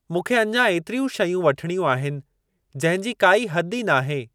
मूंखे अञां एतिरियूं शयूं वठणियूं आहिनि जंहिंजी काई हद ई नाहे।